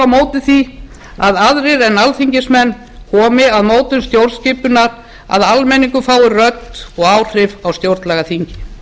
móti því að aðrir en alþingismenn komi að mótun stjórnskipunar að almenningur fái rödd og áhrif á stjórnlagaþingið